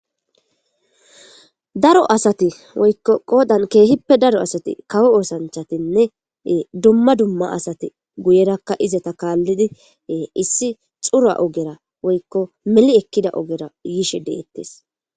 Daro asati woyko qoodan keehippe daro asati kawo osanchchatinne dumma dumma asati guyerakka izeta kaalidi issi xura ogera woykko meli ekkida ogera yishe de'etes